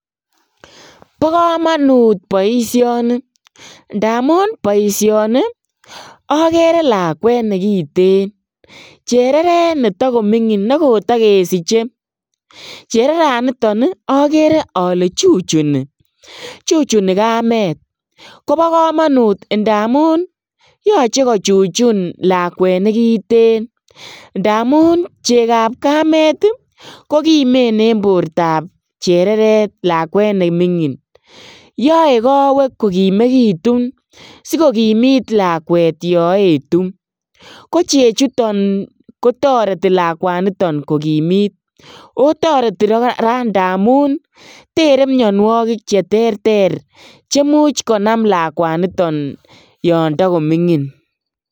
Bokomonut boisioni ndamun boisioni okeree lakwet nekiten, chereret nemingin nekotokesiche, chereraniton okere ole chuchuni, chuchuni kamet kobo komonut ndamun yoche kochuchun lakwet nekiten, ndamun chekab kamet kokimen en bortab chereret lakwet nemingin, yoe kowek kokimekitun sikokimit lakwet yo etu, ko chechuton kotoreti lakwanito kokimit, o toreti koraa ndamun tere mionuokik cheterter chemuch konam lakwanito yondo komingin.